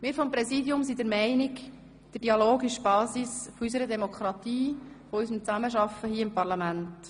» Wir sind seitens des Präsidiums der Meinung, der Dialog sei die Basis unserer Demokratie und unseres Zusammenarbeitens hier im Parlament.